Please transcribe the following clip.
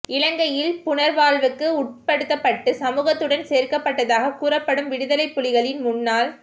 இலங்கையில் புனர்வாழ்வுக்கு உட்படுத்தப்பட்டு சமூகத்துடன் சேர்க்கப்பட்டதாக கூறப்படும் விடுதலைப் புலிகளின் முன்னாள்